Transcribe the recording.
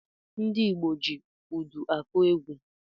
Ndị Igbo ji údù akụ egwu.